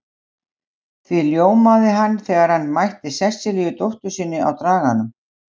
Því ljómaði hann þegar hann mætti Sesselíu dóttur sinni á Draganum.